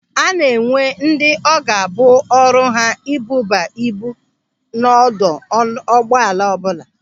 A na-enwe ndị ọ ga-abụ ọrụ ha ibuba ibu n'ọdụ ụgbọala ọbụla.